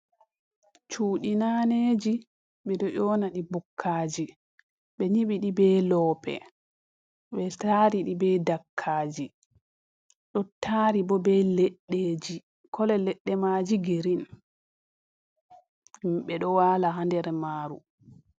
Cuuɗi naneeji, ɓe ɗo ƴoonaɗi bukkaaji, ɓe nyiɓi ɗi be loope, ɓe taari ɗi be dakkaaji, ɗo taari bo be leɗɗeeji, kolo leɗɗe maajum girin, ɓe ɗo waala haa nder maaru.